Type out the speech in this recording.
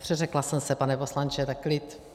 Přeřekla jsem se, pane poslanče, tak klid.